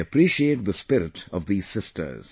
I appreciate the spirit of these sisters